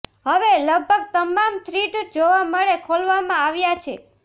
હવે લગભગ તમામ થ્રીડ જોવા મળે ખોલવામાં આવ્યા છે